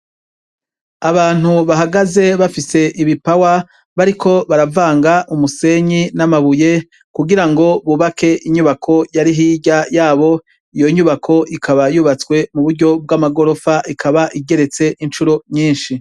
Abantu bahagaze bafise ibipawa bariko baravanga umusenyi n'amabuye kugira ngo bubake inyubako yari hirya yabo ,iyo nyubako ikaba yubatswe mu buryo bw'amagorofa ikaba igeretse incuro nyinshi.